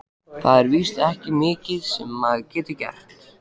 Það er víst ekki mikið sem maður getur gert.